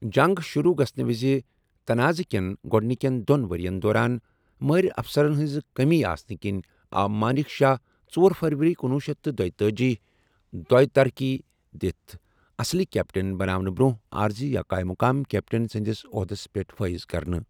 جنٛگ شُروٗع گَژھنَہٕ وِزِ تنعاضہٕ كین گوڈنكین دو٘ن ورِین دوران مٲہِرافسَرن ہِنٛزِ کٔمی آسنہٕ کِنۍ، آو مانِك شاہ ژور فروری کنوُہ شیتھ تہٕ دۄتأجی دوہ طرقی دِتھ اصلی كیپٹِن بناونہٕ برونہہ عارضی یا قایمِ مقام كیپٹِن سندِس اوحدس پیٹھ فٲیض كرنہٕ ۔